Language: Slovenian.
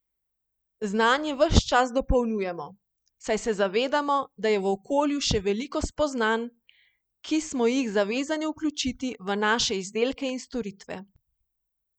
Znanje ves čas dopolnjujemo, saj se zavedamo, da je v okolju še veliko spoznanj, ki smo jih zavezani vključiti v naše izdelke in storitve.